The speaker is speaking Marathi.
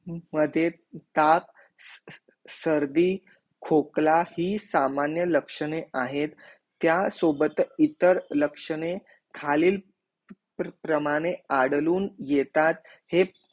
मध्ये ताप सर्दी खोकला ही सामान्य लक्षणे आहे त्या सोबत इतर लक्षणे खालील प्रमाणे आढळून येतात हे